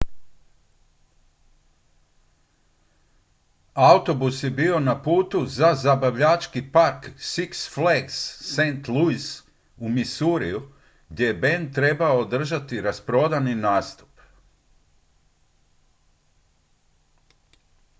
autobus je bio na putu za zabavljački park six flags st louis u missouriju gdje je bend trebao održati rasprodani nastup